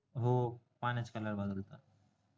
हो पाण्याचे color बदलता